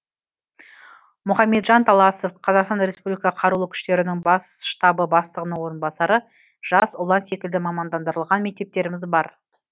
мұхамеджан таласов қазақстан республикасы қарулы күштерінің бас штабы бастығының орынбасары жас ұлан секілді мамандандырылған мектептеріміз бар